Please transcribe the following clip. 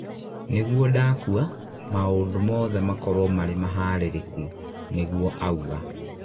nĩgũo ndakua, maũndũ mothe makorwo marĩ maharĩrĩku," nĩguo aũga